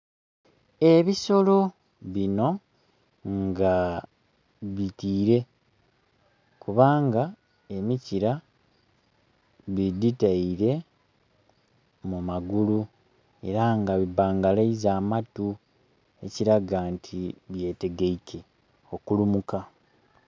Ebisolo bino nga bitiire kubanga emikira didhiteire mu magulu era nga bibangalaiza amatu ekilaga nti bye tegeike okulumuka.